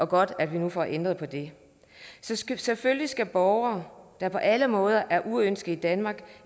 godt at vi nu får ændret på det selvfølgelig skal borgere der på alle måder er uønskede i danmark